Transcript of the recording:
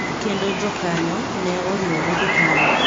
Kendo jokanyo ne oriwore gi KANU.